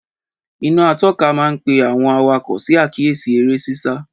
Ìnaá àtọ̀kà maà ń pẹ awon àwáko sí akiyesi ere sisa